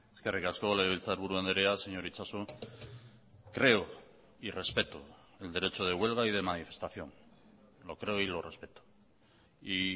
eskerrik asko legebiltzarburu andrea señor itxaso creo y respeto el derecho de huelga y de manifestación lo creo y lo respeto y